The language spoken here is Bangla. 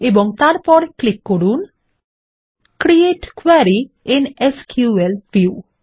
এবং তারপর ক্লিক করুন create query I N SQL view